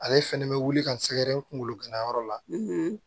Ale fɛnɛ bɛ wuli ka n sɛgɛrɛ kunkolo ganayɔrɔ la